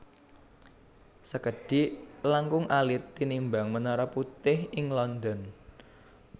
Sekedhik langkung alit tinimbang Menara Putih ing London